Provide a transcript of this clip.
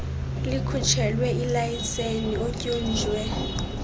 likhutshelwe ilayiseni otyunjwe